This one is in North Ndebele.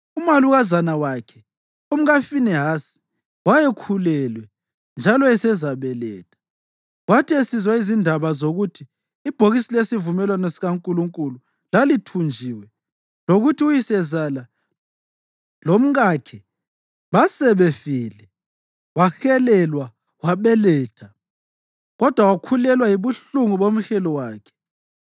Umalukazana wakhe, umkaFinehasi, wayekhulelwe njalo esezabeletha. Kwathi esizwa izindaba zokuthi ibhokisi lesivumelwano sikaNkulunkulu lalithunjiwe lokuthi uyisezala lomkakhe basebefile, wahelelwa wabeletha, kodwa wakhulelwa yibuhlungu bomhelo wakhe.